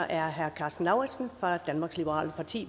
er herre karsten lauritzen fra venstre danmarks liberale parti